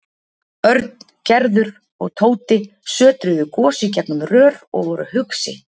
Örn, Gerður og Tóti sötruðu gos í gegnum rör og voru hugsi.